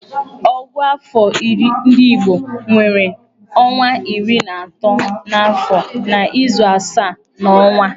Ògụ́àfọ̀ ndị igbo nwere ọnwa iri na atọ n'afọ na izu asaa n'ọnwa.